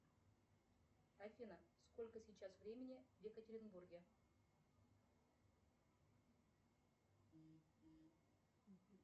афина сколько сейчас времени в екатеринбурге